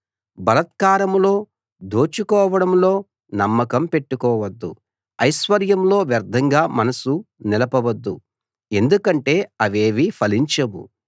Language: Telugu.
బలాత్కారంలో దోచుకోవడంలో నమ్మకం పెట్టుకోవద్దు ఐశ్వర్యంలో వ్యర్ధంగా మనసు నిలపవద్దు ఎందుకంటే అవేవీ ఫలించవు